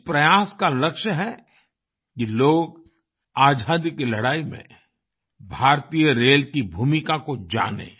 इस प्रयास का लक्ष्य है कि लोग आज़ादी की लड़ाई में भारतीय रेल की भूमिका को जानें